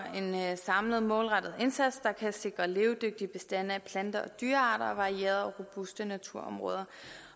en samlet målrettet indsats der kan sikre levedygtige bestande af planter og dyrearter og varierede og robuste naturområder